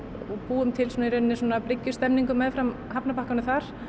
búum til meðfram hafnarbakkanum þar